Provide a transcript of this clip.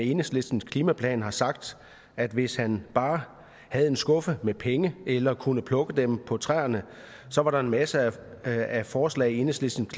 enhedslistens klimaplan har sagt at hvis han bare havde en skuffe med penge eller kunne plukke dem på træerne så var der masser af forslag i enhedslistens